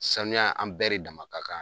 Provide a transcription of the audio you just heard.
Sanuya an bɛɛ re dama ka kan na.